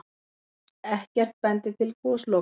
Ekkert bendi til gosloka.